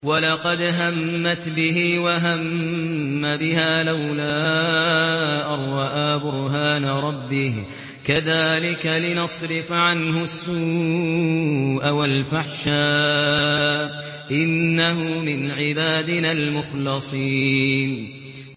وَلَقَدْ هَمَّتْ بِهِ ۖ وَهَمَّ بِهَا لَوْلَا أَن رَّأَىٰ بُرْهَانَ رَبِّهِ ۚ كَذَٰلِكَ لِنَصْرِفَ عَنْهُ السُّوءَ وَالْفَحْشَاءَ ۚ إِنَّهُ مِنْ عِبَادِنَا الْمُخْلَصِينَ